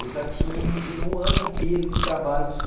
Eu já tive um ano inteiro de trabalho com o senhor